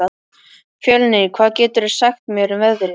Fjölnir, hvað geturðu sagt mér um veðrið?